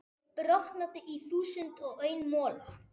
brotnaði í þúsund og einn mola.